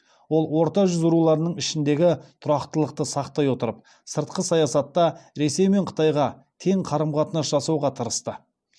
ол орта жүз руларының ішіндегі тұрақтылықты сақтай отырып сыртқы саясатта ресей мен қытайға тең қарым қатынас жасауға тырысты